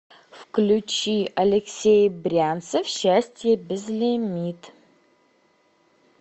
включи алексей брянцев счастье безлимит